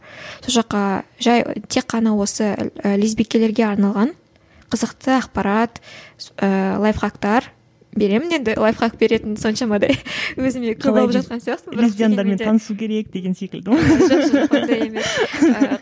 сол жаққа жай тек қана осы лесбикелерге арналған қызықты ақпарат ыыы лайфхактар беремін енді лайфхакт беретін соншамадай өзіме көп алып жатқан жоқ жоқ ондай емес